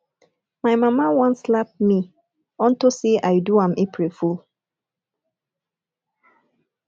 my mana wan slap me unto say i do am april fool